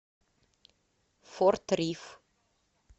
форт риф